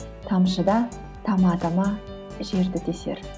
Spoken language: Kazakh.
тамшы да тама тама жерді тесер